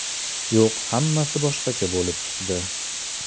Yo‘q, hammasi boshqacha bo‘lib chiqdi.